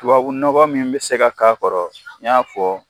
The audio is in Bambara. Tubabu nɔgɔ min bɛ se ka k'a kɔrɔ n y'a fɔ